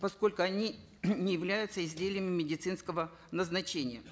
поскольку они не являются изделиями медицинского назначения